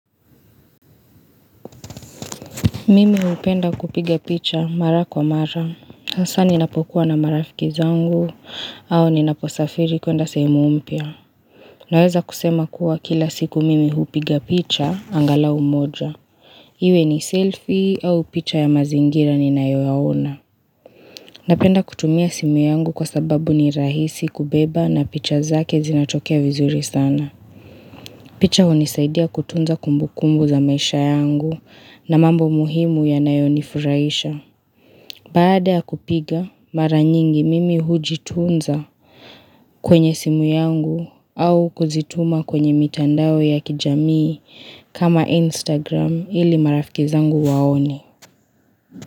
Mimi upenda kupiga picha mara kwa mara. Hasa ninapokuwa na marafiki zangu, au ninaposafiri kuenda sehemu mpia. Naweza kusema kuwa kila siku mimi upiga picha, angalau moja. Iwe ni selfie au picha ya mazingira ninayo yaona. Napenda kutumia simu yangu kwa sababu ni rahisi kubeba na picha zake zinatokea vizuri sana. Picha hunisaidia kutunza kumbu kumbu za maisha yangu na mambo muhimu ya nayo nifurahisha. Bada kupiga mara nyingi mimi hujitunza kwenye simu yangu au kuzituma kwenye mitandawe ya kijamii kama instagram ili marafikizangu waone.